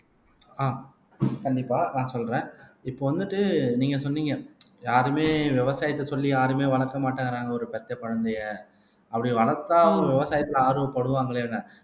ஆஹ் கண்டிப்பா நான் சொல்றேன் இப்போ வந்துட்டு நீங்க சொன்னீங்க யாருமே விவசாயத்தை சொல்லி யாருமே வளர்க்க மாட்டேங்குறாங்க ஒரு பெத்த குழந்தையை அப்படி வளர்த்தா ஒரு விவசாயத்திலே ஆர்வப்படுவாங்களேன்னு